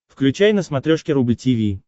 включай на смотрешке рубль ти ви